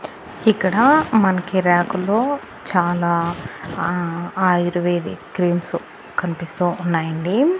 ఇక్కడ మనకి రాకులో చాలా అహ్ ఆయుర్వేదిక్ క్రీమ్స్ కనిపిస్తూ ఉన్నాయండి.